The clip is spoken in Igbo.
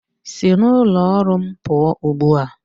Si n'ụlọ ọrụ m pụọ ugbu a!